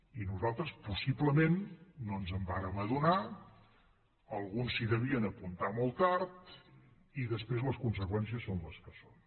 i nosaltres possiblement no ens en vàrem adonar alguns s’hi devien apuntar molt tard i després les conseqüències són les que són